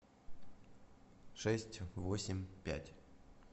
шесть восемь пять